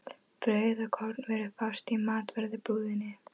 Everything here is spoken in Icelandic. Brauð og kornvörur fást í matvörubúðinni.